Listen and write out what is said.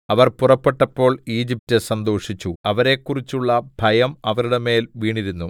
അവർ പുറപ്പെട്ടപ്പോൾ ഈജിപ്റ്റ് സന്തോഷിച്ചു അവരെക്കുറിച്ചുള്ള ഭയം അവരുടെ മേൽ വീണിരുന്നു